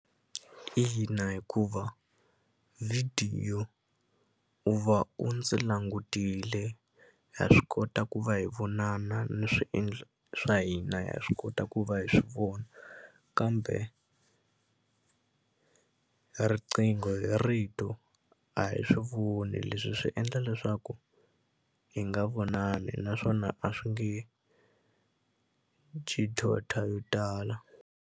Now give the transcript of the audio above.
Ina, hikuva vhidiyo u va u ndzi langutile ha swi kota ku va hi vonana ni swiendlo swa hina ha swi kota ku va hi swi vona kambe riqingho hi rito a hi swi voni leswi swi endla leswaku hi nga vonani naswona a swi nge dyi yo tala.